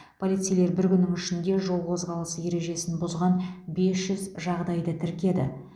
полицейлер бір күннің ішінде жол қозғалысы ережесін бұзған бес жүз жағдайды тіркеді